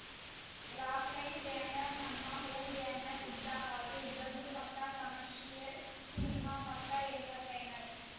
Rockline banner ನಮ್ಮ home banner ಇದ್ದ ಹಾಗೆ ಇದೊಂದು ಪಕ್ಕಾ ಕಮರ್ಷಿಯಲ್‌ ಸಿನಿಮಾ ಪಕ್ಕಾ ಎಂಟರ್‌ಟೈನರ್‌